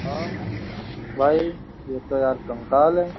भाई ये तो यार कंकाल है।